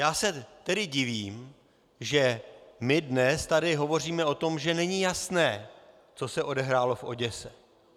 Já se tedy divím, že my dnes tady hovoříme o tom, že není jasné, co se odehrálo v Oděse.